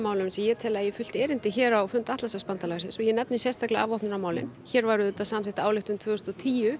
sem ég tel að eigi fullt erindi hér á fund Atlantshafsbandalagsins og ég nefni sérstaklega afvopnunarmálin hér var auðvitað samþykkt ályktun tvö þúsund og tíu